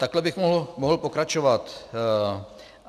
Takhle bych mohl pokračovat.